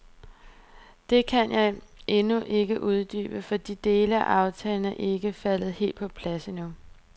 Det kan jeg endnu ikke uddybe, for de dele af aftalen er ikke faldet helt på plads endnu.